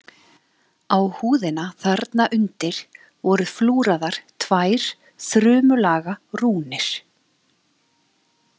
Á húðina þarna undir voru flúraðar tvær þrumulaga rúnir.